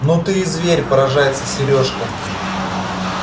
ну ты и зверь поражается серёжка